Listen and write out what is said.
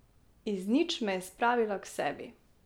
Iz nič me je spravila k sebi.